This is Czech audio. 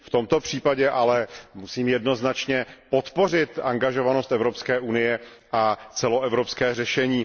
V tomto případě ale musím jednoznačně podpořit angažovanost Evropské unie a celoevropské řešení.